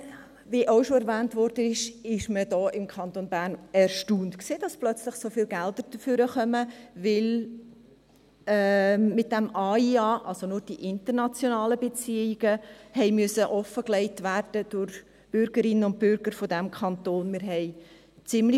Wie auch schon erwähnt wurde, war man im Kanton Bern erstaunt, dass wegen des AIA plötzlich so viele Gelder auftauchen, weil die internationalen Beziehungen durch die Bürgerinnen und Bürger dieses Kantons offengelegt werden mussten.